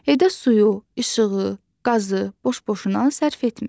Evdə suyu, işığı, qazı boş-boşuna sərf etmir.